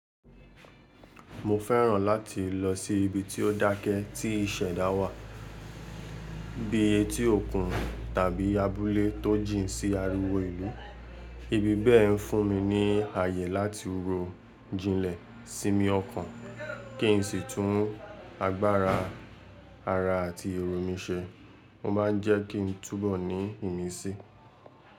Mo fẹ́ràn láti lọ sí ibi tí ó dákẹ́ tí ìṣẹ̀dá wà bíi etí òkun tàbí abúlé tó jìn sí ariwo ìlú. Ibi bẹ́ẹ̀ ń fún mi ní ààyè láti ro jinlẹ̀, sinmi ọkàn, kí n sì tún agbára ara àti èrò mi ṣe. Mo má ń jẹ́ kí n túbọ̀ ní ìmísí.